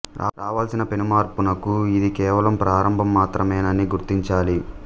రావలసిన పెను మార్పునకు ఇది కేవలం ప్రారంభం మాత్రమేనని గుర్తించాలి